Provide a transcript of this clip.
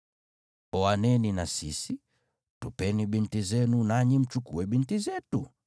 Oaneni na sisi, tupeni binti zenu, nanyi mchukue binti zetu.